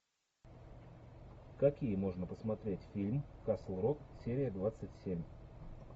какие можно посмотреть фильм касл рок серия двадцать семь